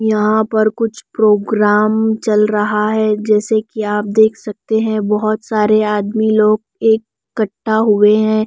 यहां पर कुछ प्रोग्राम चल रहा है जैसे कि आप देख सकते हैं बहोत सारे आदमी लोग एक कट्टा हुए हैं।